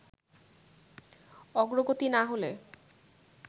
অগ্রগতি না হলে